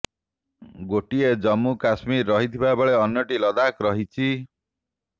ଗୋଟିଏ ଜମ୍ମୁ କଶ୍ମୀର ରହିଥିବା ବେଳେ ଅନ୍ୟଟି ଲଦାଖ ରହିଛି